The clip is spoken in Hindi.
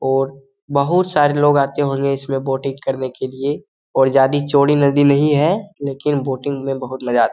औरं बहुत सारे लोग आते होंगे इसमे बोटिंग करने के लिए ओर ज्यादा चौड़ी नदी नहीं है लेकिन बोटिंग मे बहुत मजा --